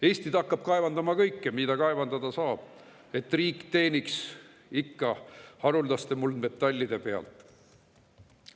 Eesti hakkab kaevandama kõike, mida kaevandada saab, et riik ikka teeniks haruldaste muldmetallide pealt.